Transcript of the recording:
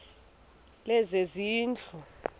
lezezindlu